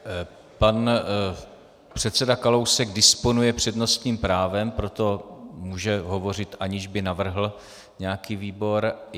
Pan předseda Kalousek disponuje přednostním právem, proto může hovořit, aniž by navrhl nějaký výbor.